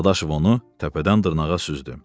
Dadaşov onu təpədən dırnağa süzdü.